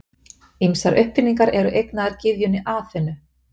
ýmsar uppfinningar eru eignaðar gyðjunni aþenu